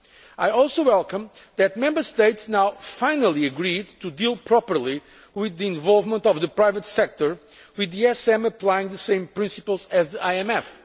I also welcome the fact that Member States have now finally agreed to deal properly with the involvement of the private sector, with the ESM applying the same principles as the IMF.